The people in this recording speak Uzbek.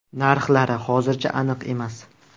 Narxlari hozircha aniq emas.